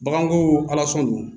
Baganko don